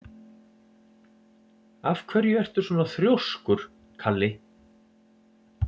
Af hverju ertu svona þrjóskur, Kalli?